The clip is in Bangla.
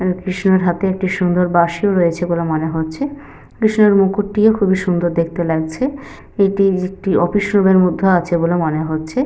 কৃষ্ণের হাতে একটি সুন্দর বাসিও রয়েছে বলে মনে হচ্ছে। কৃষ্ণের মুকুটিও সুন্দর দেখতে লাগছে। এটি একটি অফিসে -রুম এর মধ্যে আছে বলে মনে হচ্ছে।